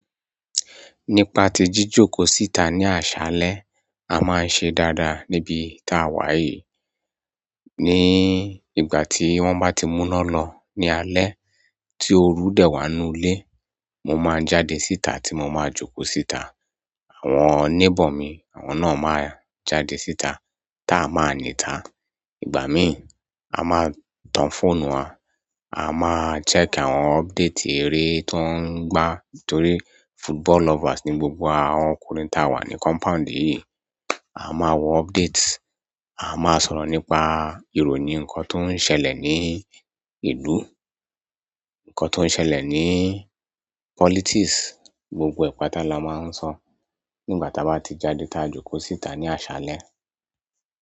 Nípa tí jíjòkó síta ní àṣálẹ́, a máa ń ṣe dáadáa níbi tá wa yìí. Ní ìgbà tí wọ́n bá ti múná lọ ní alé tí o rú dẹ́ wá nù ilé, mo máa jáde síta tí mo máa jókò síta. Àwọn neighbour mi, àwọn náà máa jáde síta táa máa nìta. Ìgbà mi a maa n tan phone wa, a maa n check àwọn update ere to n gba torí football lovers ni gbogbo awa ọkùnrin ta wa ni compound yìí. A máa wo update, a máa sọ̀rọ̀ nípa ìròyìn ǹkan tó ń ṣẹlẹ̀ ní ìlú, ǹkan tó ń ṣẹlẹ̀ ní politics, gbogbo ẹ̀pà táa la máa ń sọ nígbà táa bá ti jáde táa jókò síta ní àṣálẹ́.